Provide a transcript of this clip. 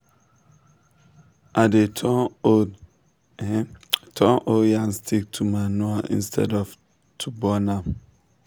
i dey turn old turn old yam stick to manure instead of to burn am.